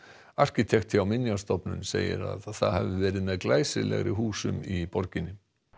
arkitekt hjá Minjastofnun segir að það hafi verið með glæsilegri húsum í borginni